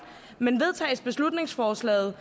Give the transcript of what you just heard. men vedtages beslutningsforslaget